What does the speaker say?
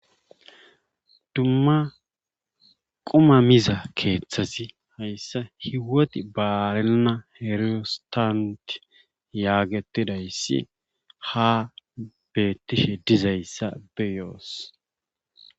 Dumma quma miza keethazi hayssa hieoti baarenna ristanti yaagettidayssi haa beettishe dizayssa be7oos.